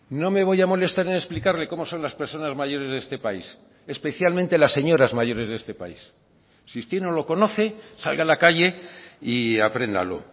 no me voy a molestar en explicarle cómo son las personas mayores de este país especialmente las señoras mayores de este país si usted no lo conoce salga a la calle y apréndalo